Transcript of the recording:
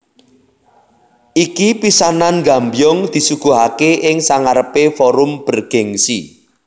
Iki pisanan Gambyong disuguhake ing sangarepe forum bergengsi